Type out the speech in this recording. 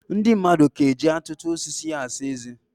Ndị madụ ka ji atụ osisi asa eze.